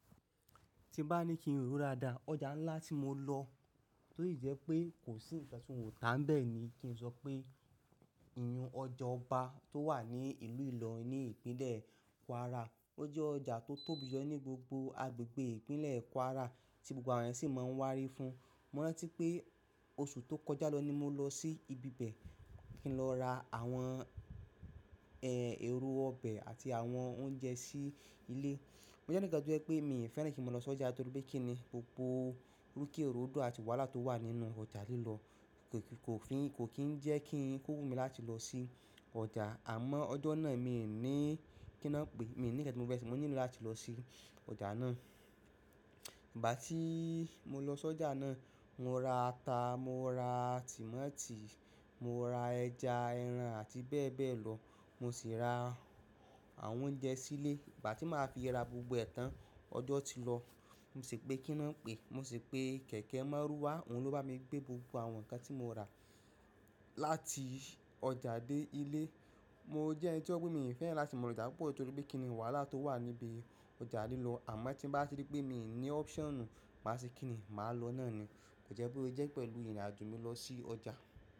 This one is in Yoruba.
Tí bá ní kí n rò daadá, ọjà ńlá tí mo lọ, tó sì jẹ́ pé kò sí ìkan ti wòn tà bẹ́ẹ̀ ni kí n sọ pé ọjà ọba tó wà ní ìlú Ìlọ̀rín ní ìpínlẹ̀ Kwara, ó jẹ́ ọjà tó tóbi gan ní gbogbo agbègbè ìpínlẹ̀ Kwara tí gbogbo àwọn èèyàn sì máa ń wárí fún. Mo rántí pé oṣù tó kọjá lọ ni mo lọ sí ibi bẹ́ẹ̀ kí n lọ ra àwọn ẹ̀lo ọbẹ̀ àti àwọn oúnjẹ sí ilé. Mo je enikan to je pé mi ò fẹ́ràn kí n máa lọ sí ọjà torí pé kí ni gbogbo rúkẹ́ rodo àti wàhálà tó wà nínú ọjà lílọ̀ kò fi, kò kín ń jẹ́ kí ń ko wu mi láti lọ sí ọjà, àmọ́ ọjọ́ náà mi ò ní kí lo ń pè, mi ò ní ǹkan tí mo fẹ́ se, mo nílò láti lọ sí ọjà náà. Ìgbà tí mo lọ sí ọjà náà, mo ra ata, mo ra tòmátì, mo ra ẹja, ẹran àti bẹ́ẹ̀ bẹ́ẹ̀ lọ. Mo sì ra àwọn oúnjẹ sílé. Ìgbà tí màá fi ra gbogbo ẹ̀tàn, ọjọ́ ti lọ. Mo sì pe kí n à ń pè, mo sì pe kẹ̀kẹ́ márúwá, òun ló bá mi gbé gbogbo àwọn ǹkan tí mo rà láti ọjà dé ilé. Mo jẹ́ ẹni tí ó gbé mi fẹ́ràn láti máa lọ ọjà púpọ̀ torí pé kí ni wàhálà tó wà níbi ọjà lílọ̀, àmọ́ tí bá ti dé pé mi ò ní option, màá ṣe kí ni, màá lọ náà ni. Ko jẹ́ bo se jẹ́ pẹ̀lú ìrìnàjò mi lọ sí ọjà.